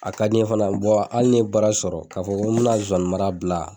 A ka di n ye fana hali n ye baara sɔrɔ k'a fɔ ko n bɛna sonsannin mara bila